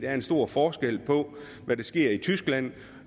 er en stor forskel på hvad der sker i tyskland